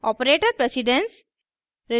operator precedence